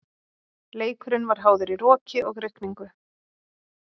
Leikurinn var háður í roki og rigningu.